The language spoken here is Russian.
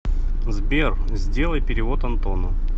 сбер сделай перевод антону